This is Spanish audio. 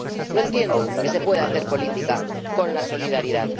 No entiendo que se pueda hacer política con la solidaridad.